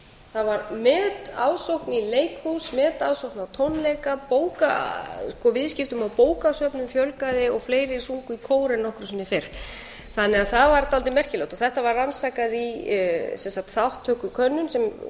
það var metaðsókn í leikhús metaðsókn á tónleika viðskiptum á bókasöfnum fjölgaði og fleiri sungu í kór en nokkru sinni fyrr þannig að það var dálítið merkilegt þetta var rannsakað í þátttökukönnun sem